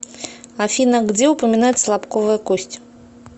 афина где упоминается лобковая кость